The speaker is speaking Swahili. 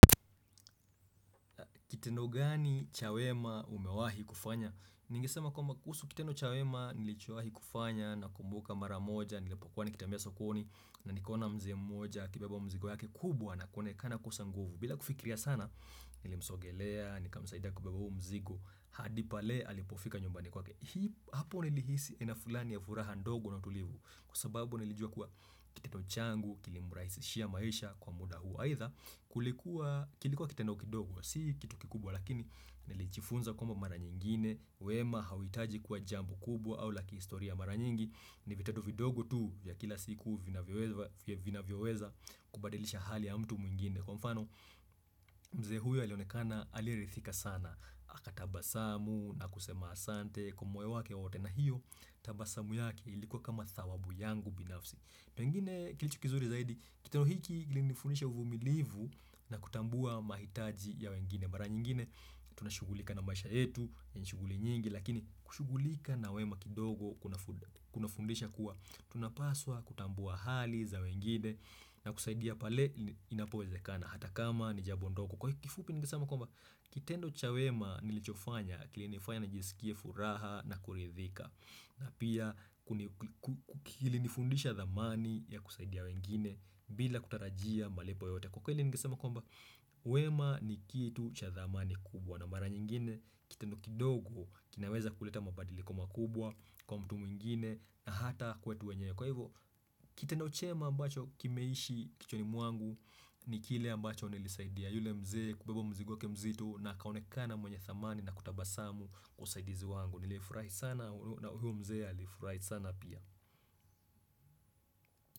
Kitendo gani ch wema umewahi kufanya? Ningisema kwa kuhusu kiteno cha wema nilichosahi kufanya na kumbuka maramoja nilepokwani kutembea sokoni na nikona mzee mmoja akibeba mzigo yake kubwa na konekana kosa nguvu. Bila kufikiria sana nilimsogelea nika msaida kubeba mzigo hadipale alipofika nyumbani kwa ke. Hii hapo nilihisi aina fulani ya furaha ndogo na tulivu kwa sababu nilijua kuwa kitendo changu kilimurahisishia maisha kwa muda huo. Aidha kilikuwa kitendo kidogo, si kitu kikubwa lakini nilichifunza kwamba mara nyingine, wema hawitaji kuwa jambo kubwa au laki istoria mara nyingi, ni vitendo vidogo tu ya kila siku vina vyoweza kubadilisha hali ya mtu mwingine. Kwa mfano mzee huyo alionekana alirithika sana, aka taba samu na kusema asante kwa moyo wake wote na hiyo, taba samu yake ilikuwa kama thawabu yangu binafsi. Pengine kilicho kizuri zaidi, kitendo hiki kilinifundisha uvumilivu na kutambua mahitaji ya wengine. Mara nyingine, tunashugulika na maisha yetu, nishughuli nyingi, lakini kushughulika na wema kidogo kuna fundisha kuwa. Tunapaswa kutambua hali za wengine na kusaidia pale inapowezekana, hata kama ni jambo ndogo. Kwa kifupi nigesama kwamba, kitendo cha wema nilichofanya, kilinefanya nijisikie furaha na kurithika. Na pia kikili nifundisha thamani ya kusaidia wengine bila kutarajia malipo yote. Kwa kweli ningesema kwamba, wema ni kitu cha thamani kubwa. Na mara nyingine, kitendo kidogo kinaweza kuleta mabadilki makubwa kwa mtu mwingine na hata kwetu wenye. Kwa hivyo, kitendo chema ambacho kimeishi kichoni muangu ni kile ambacho nilisaidia. Yule mzee, kubeba mzigo ke mzito na kaonekana mwenye thamani na kutabasamu kusaidizi wangu. Ni li furahit sana, huyo mzee alifurahifurahi sana pia.